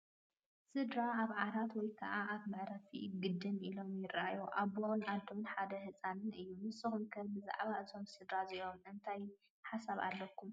ስድራ ኣብ ዓራት ወይ ከዓ ኣብ መዕሪፊ ግድም ኢሎም ይራኣዩ፡፡ ኣቦን ኣዶን ሓደ ህፃንን እዩም፡፡ ንስኹም ከ ብዛዕባ እዞም ስድራ እዚኦም እንታይ ሓሳብ ኣለኩም?